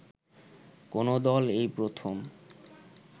কোন দল এই প্রথম